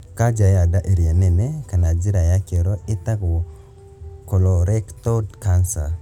Kanja ya nda ĩrĩa nene kana njĩra ya kĩoro ĩtagwo colorectal cancer